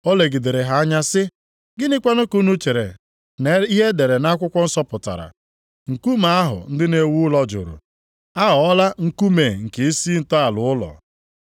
O legidere ha anya sị, “Gịnịkwa ka unu chere na ihe e dere nʼakwụkwọ nsọ pụtara, “ ‘Nkume ahụ ndị na-ewu ụlọ jụrụ aghọọla nkume nke isi ntọala ụlọ’ + 20:17 \+xt Abụ 118:22\+xt* ?